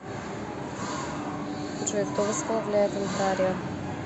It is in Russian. джой кто возглавляет онтарио